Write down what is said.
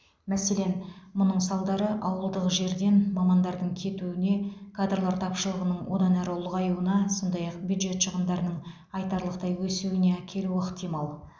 мәселен мұның салдары ауылды жерден мамандардың кетуіне кадрлар тапшылығының одан әрі ұлғаюына сондай ақ бюджет шығындарының айтарлықтай өсуіне әкелуі ықтимал